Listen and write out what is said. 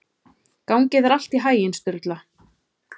Gangi þér allt í haginn, Sturla.